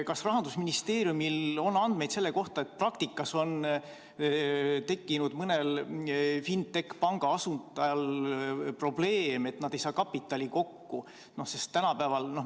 Kas Rahandusministeeriumil on andmeid selle kohta, et praktikas on tekkinud mõnel fintech-panga asutajal probleeme, et kapitali ei saada kokku?